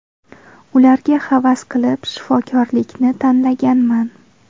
Ularga havas qilib, shifokorlikni tanlaganman.